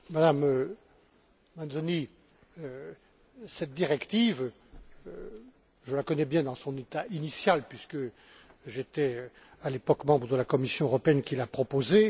Madame Mazzoni, cette directive, je la connais bien dans son état initial, puisque j'étais, à l'époque, membre de la Commission européenne qui l'a proposée.